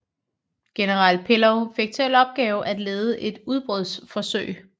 General Pillow fik til opgave at lede et udbrudsforsøg